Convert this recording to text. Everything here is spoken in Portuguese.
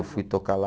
Eu fui tocar lá.